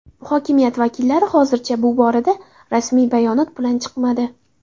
Hokimiyat vakillari hozircha bu borada rasmiy bayonot bilan chiqmadi.